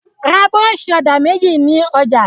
Ra búrọ́ṣì-ọ̀dà méjì ní ọjà!